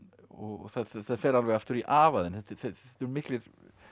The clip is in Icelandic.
og það fer alveg aftur í afa þinn þetta eru miklir